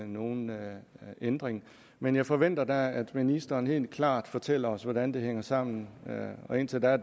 nogen ændring men jeg forventer da at ministeren helt klart fortæller os hvordan det hænger sammen og indtil da